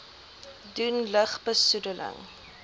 doen lug besoedeling